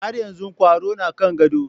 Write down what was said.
Har yanzu kwaro na kan gado.